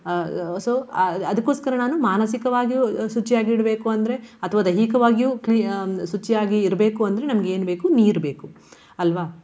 So ಅ~ ಅದಕ್ಕೋಸ್ಕರ ನಾನು ಮಾನಸಿಕವಾಗಿಯೂ ಶುಚಿಯಾಗಿಡ್ಬೇಕು ಅಂದ್ರೆ ಅಥವಾ ದೈಹಿಕವಾಗಿಯೂ clea~ ಹ್ಮ್ ಶುಚಿಯಾಗಿ ಇರ್ಬೇಕು ಅಂದ್ರೆ ನಮ್ಗೆ ಏನ್ಬೇಕು ನೀರು ಬೇಕು ಅಲ್ವಾ.